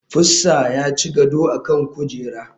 Pussa ya ci gado a kan kujera.